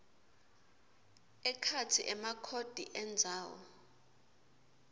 ekhatsi emakhodi endzawo